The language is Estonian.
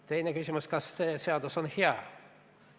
Teine küsimus: kas see seadus on hea?